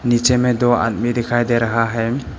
नीचे में दो आदमी दिखाई दे रहा है।